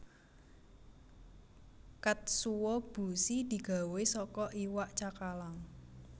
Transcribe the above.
Katsuo bushi digawé saka iwak cakalang